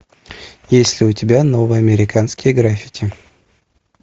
есть ли у тебя новые американские граффити